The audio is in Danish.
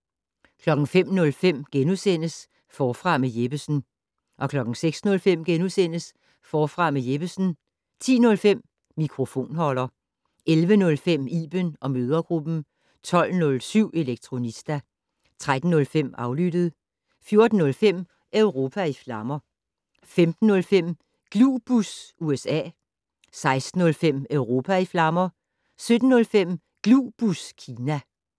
05:05: Forfra med Jeppesen * 06:05: Forfra med Jeppesen * 10:05: Mikrofonholder 11:05: Iben & mødregruppen 12:07: Elektronista 13:05: Aflyttet 14:05: Europa i flammer 15:05: Glubus USA 16:05: Europa i flammer 17:05: Glubus Kina